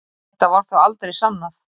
Þetta var þó aldrei sannað